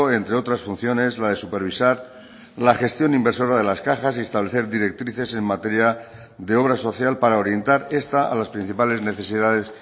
entre otras funciones la de supervisar la gestión inversora de las cajas y establecer directrices en materia de obra social para orientar está a las principales necesidades